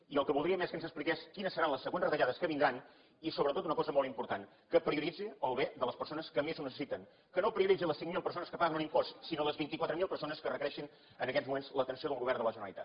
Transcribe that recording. i el que voldríem és que ens expliqués quines seran les següents retallades que vindran i sobretot una cosa molt important que prioritzi el bé de les persones que més ho necessiten que no prioritzi les cinc mil persones que paguen un impost sinó les vint quatre mil persones que requereixen en aquests moments l’atenció del govern de la generalitat